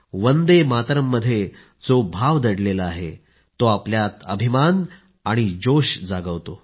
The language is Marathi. वन्दे मातरम् मध्ये जो भाव दडलेला आहे तो आपल्यात अभिमान आणि जोश जागवतो